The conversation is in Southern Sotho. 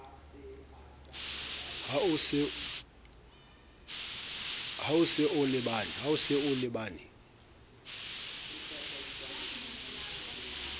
ha o se a lebane